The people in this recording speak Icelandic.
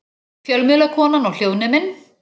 Fjölmiðlakonan og hljóðneminn.